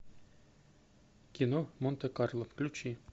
кино монте карло включи